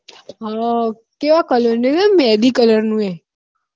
હ કેવા colour નું હૈ મેહંદી colour નું હૈ